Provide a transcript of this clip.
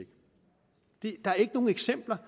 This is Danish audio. ikke der er ikke nogen eksempler